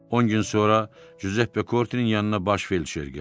On gün sonra Cüzep Pekortinin yanına Baş Felşer gəldi.